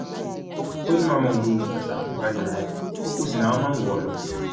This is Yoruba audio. ó ní màmá òun ló ni bàtà àgùnbànìrò yẹn ọkọ sì làwọn máa ń wọ ọ lọ